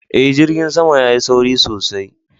Eh, jirgin sama ya Yi sauri sosai.